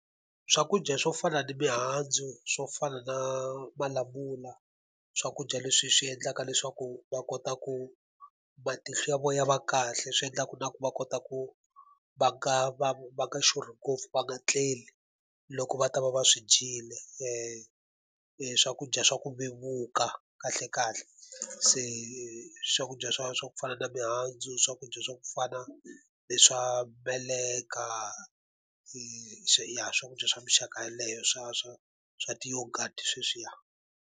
Swakudya swo fana na mihandzu, swo fana na malamula, swakudya leswi swi endlaka leswaku va kota ku matihlo ya vona ya va kahle. Swi endlaka ku na ku va va kota ku va nga va va nga xurhi ngopfu va nga tleli loko va ta va va swi dyile, swakudya swa ku vevuka kahlekahle. Se swakudya swa swa ku fana na mihandzu, swakudya swa ku fana leswa meleka ya swakudya swa minxaka yeleyo. Swa swa swa ti-yoghurt sweswiya.